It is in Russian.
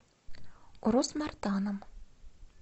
урус мартаном